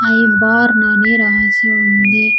I born అని రాసి ఉంది.